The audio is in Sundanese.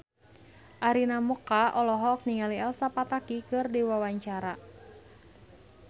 Arina Mocca olohok ningali Elsa Pataky keur diwawancara